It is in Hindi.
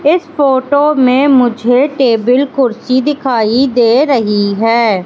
इस फोटो में मुझे टेबल कुर्सी दिखाई दे रही है।